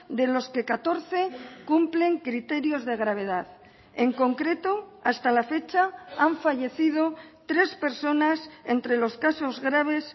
de los que catorce cumplen criterios de gravedad en concreto hasta la fecha han fallecido tres personas entre los casos graves